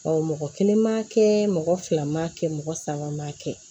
mɔgɔ kelen m'a kɛ mɔgɔ fila ma kɛ mɔgɔ saba m'a kɛ